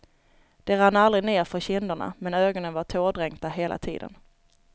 De rann aldrig nerför kinderna men ögonen var tårdränkta hela tiden.